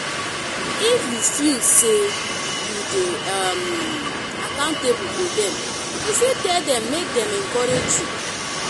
if you feel say you de um accountable to dem you fit tell dem make dem encourage you